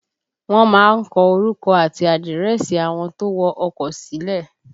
Wọ́n má ń kọ orúkọ àti àdírẹ́sì àwọn tó wọ ọkọ sílẹ̀